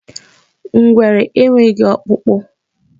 Ngwere enweghị ọkpụkpụ.